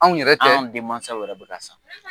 Anw yɛrɛ tɛ? An denmasaw wɛrɛ bɛ ka san.